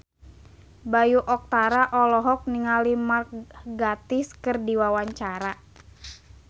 Bayu Octara olohok ningali Mark Gatiss keur diwawancara